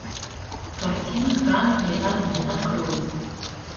картина красные огни открой